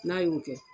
N'a y'o kɛ